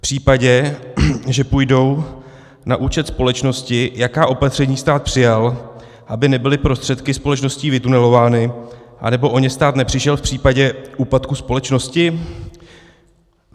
V případě, že půjdou na účet společnosti, jaká opatření stát přijal, aby nebyly prostředky společností vytunelovány, anebo o ně stát nepřišel v případě úpadku společnosti?